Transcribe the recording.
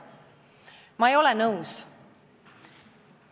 Ma ei ole nõus!